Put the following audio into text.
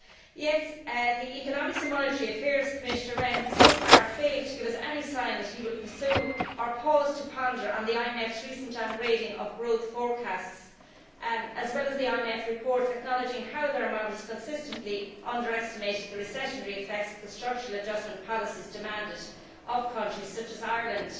Yet the Economic and Monetary Affairs Commissioner Rehn has so far failed to give us any sign that he will pursue, or pause to ponder on, the IMF's recent downgrading of growth forecasts, as well as the IMF reports acknowledging how their models consistently underestimated the recessionary effects of the structural adjustment policies demanded of countries such as Ireland.